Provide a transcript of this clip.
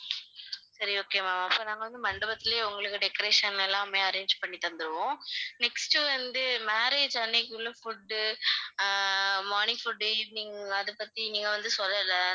சரி okay ma'am அப்ப நாங்க வந்து மண்டபத்திலயே உங்களுக்கு decoration எல்லாமே arrange பண்ணி தந்திடுவோம் next வந்து marriage அன்னைக்கு உள்ள food ஆஹ் morning food evening அத பத்தி நீங்க வந்து சொல்லல